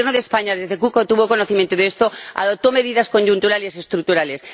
El Gobierno de España, desde que tuvo conocimiento de esto, adoptó medidas coyunturales y estructurales.